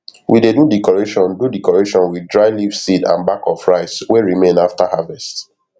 we dey do decoration do decoration with dry leaf seed and back of rice wey remain after harvest